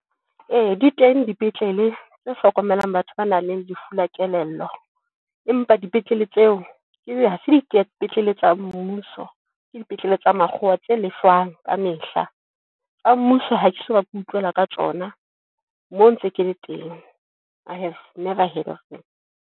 Eya di teng dipetlele tse hlokomelang batho ba nang le lefu la kelello. Empa dipetlele tseo ebe ha se dipetlele tsa mmuso. Ke dipetlele tsa makgowa tse lefwang ka mehla. Tsa mmuso ha ke soka, ke utlwela ka tsona, moo ntse kele teng. I have never heard of them.